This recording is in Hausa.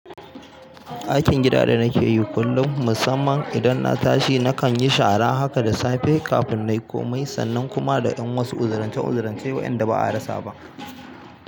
Aikin gida da nake yi kullum, musamman idan na tashi nakan yi shara haka da safe kafin na yi komai, sannan kuma da ƴan wasu uzurancen uzurancen waƴanda ba a rasa ba.